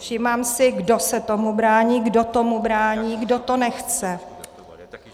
Všímám si, kdo se tomu brání, kdo tomu brání, kdo to nechce.